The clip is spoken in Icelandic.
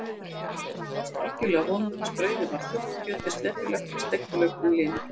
Samlokan brást algjörlega vonum hans, brauðið var þurrt, kjötið slepjulegt og steikti laukurinn linur.